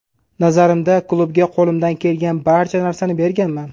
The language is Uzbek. Nazarimda, klubga qo‘limdan kelgan barcha narsani berganman”.